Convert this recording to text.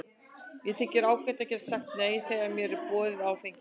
Mér þykir ágætt að geta sagt nei þegar mér er boðið áfengi.